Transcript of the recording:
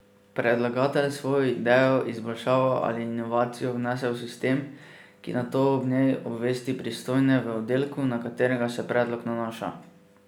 Predlagatelj svojo idejo, izboljšavo ali inovacijo vnese v sistem, ki nato o njej obvesti pristojne v oddelku, na katerega se predlog nanaša.